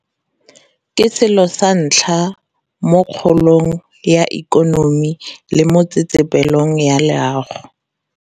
Ke selo sa ntlha mo kgolong ya ikonomi le mo tsetsepelong ya loago.